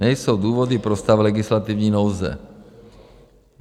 Nejsou důvody pro stav legislativní nouze.